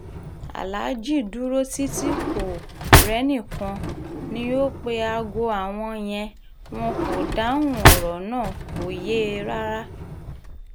aláàjì dúró títí kò rẹ́nìkan ni o pé aago àwọn yẹn wọn kò dáhùn ọ̀rọ̀ náà kò yé e rárá